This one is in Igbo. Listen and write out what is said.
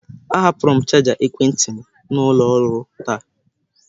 Ahapụrụ m chaja ekwentị m n'ụlọ ọrụ taa